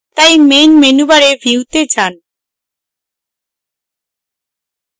তাই main menu bar view তে main